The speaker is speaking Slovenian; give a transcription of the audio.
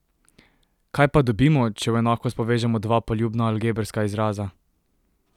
Kaj pa dobimo, če v enakost povežemo dva poljubna algebrska izraza?